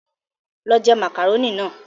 Lọ je màkàrónì náà!